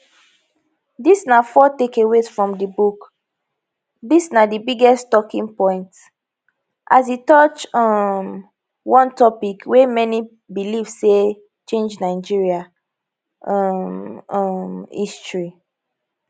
dis na four takeaways from di book dis na di biggest talkingpoint as e touch um one topic wey many believe say change nigeria um um history